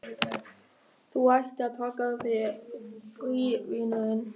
Þú ættir að taka þér frí, vinurinn.